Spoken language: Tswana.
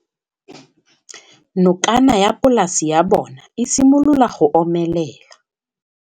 Nokana ya polase ya bona, e simolola go omelela.